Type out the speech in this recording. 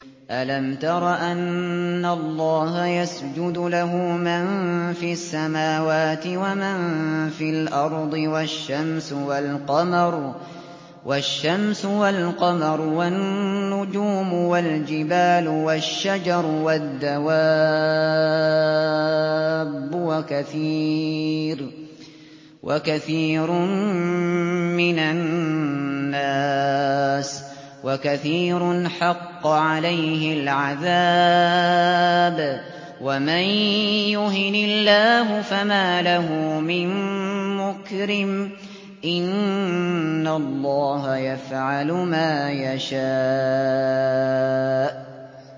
أَلَمْ تَرَ أَنَّ اللَّهَ يَسْجُدُ لَهُ مَن فِي السَّمَاوَاتِ وَمَن فِي الْأَرْضِ وَالشَّمْسُ وَالْقَمَرُ وَالنُّجُومُ وَالْجِبَالُ وَالشَّجَرُ وَالدَّوَابُّ وَكَثِيرٌ مِّنَ النَّاسِ ۖ وَكَثِيرٌ حَقَّ عَلَيْهِ الْعَذَابُ ۗ وَمَن يُهِنِ اللَّهُ فَمَا لَهُ مِن مُّكْرِمٍ ۚ إِنَّ اللَّهَ يَفْعَلُ مَا يَشَاءُ ۩